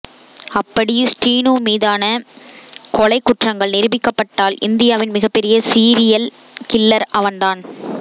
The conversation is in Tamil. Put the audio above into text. அப்படி ஸ்ரீனு மீதான கொலைக் குற்றங்கள் நிரூபிக்கப்பட்டால் இந்தியாவின் மிகப்பெரிய சீரியல் கில்லர் அவன் தான்